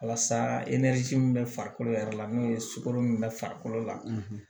Walasa e ni ci min bɛ farikolo yɛrɛ la n'o ye sukoro min bɛ farikolo la